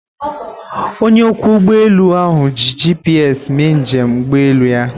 Onye ọkwọ ụgbọ elu ahụ ji GPS mee njem ụgbọelu ya.